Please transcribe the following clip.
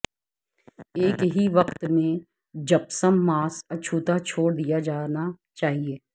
ایک ہی وقت میں جپسم ماس اچھوتا چھوڑ دیا جانا چاہئے